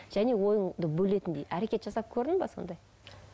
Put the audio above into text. және ойыңды бөлетіндей әрекет жасап көрдің бе сондай